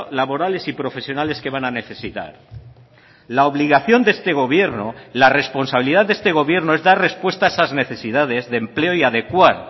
laborales y profesionales que van a necesitar la obligación de este gobierno la responsabilidad de este gobierno es dar respuesta a esas necesidades de empleo y adecuar